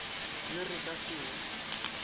yo re ka se e